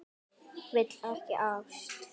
Vill ekki ást.